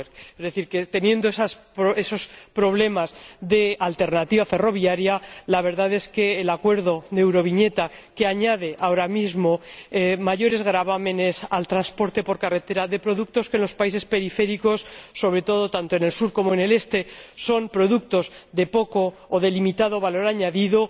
Es decir, que, teniendo esos problemas de alternativa ferroviaria, la verdad es que el acuerdo sobre la euroviñeta, que añade ahora mismo mayores gravámenes al transporte por carretera de productos que en los países periféricos, sobre todo tanto en el sur como en el este, son productos de poco o limitado valor añadido...